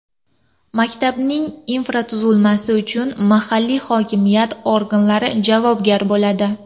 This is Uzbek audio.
Maktabning infratuzilmasi uchun mahalliy hokimiyat organlari javobgar bo‘ladi.